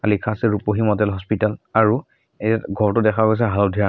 লিখা আছে Rupahi model hospital আৰু এই ঘৰটো দেখা গৈছে হালধীয়া ৰঙৰ।